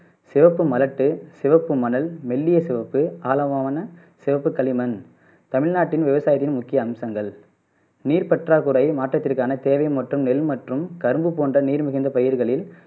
சிவப்பு மரத்து, சிவப்பு மணல், மெல்லிய சிவப்பு, ஆலவாவன சிவப்பு களிமண் தமிழ்நாட்டின் விவசாயத்தின் முக்கிய அம்சங்கள் நீர் பற்றாக்குறை மாற்றத்திற்கான தேவை மற்றும் நெல் மற்றும் கரும்பு போன்ற நீர் மிகுந்த பயிர்களில்